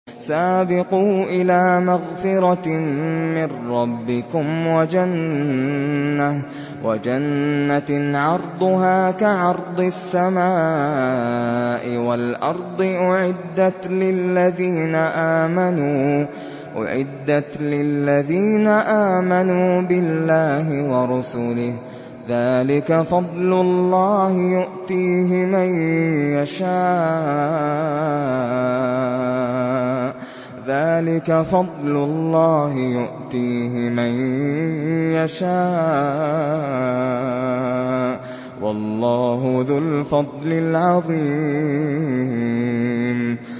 سَابِقُوا إِلَىٰ مَغْفِرَةٍ مِّن رَّبِّكُمْ وَجَنَّةٍ عَرْضُهَا كَعَرْضِ السَّمَاءِ وَالْأَرْضِ أُعِدَّتْ لِلَّذِينَ آمَنُوا بِاللَّهِ وَرُسُلِهِ ۚ ذَٰلِكَ فَضْلُ اللَّهِ يُؤْتِيهِ مَن يَشَاءُ ۚ وَاللَّهُ ذُو الْفَضْلِ الْعَظِيمِ